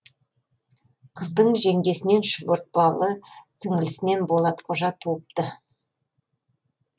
қыздың жеңгесінен шұбыртпалы сіңлісінен болатқожа туыпты